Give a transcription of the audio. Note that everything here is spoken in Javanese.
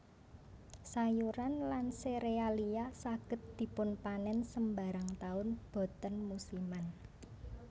Sayuran lan serealia saged dipunpanen sembarang taun boten musiman